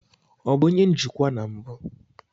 Ọ bụ onye njikwa na mbụ?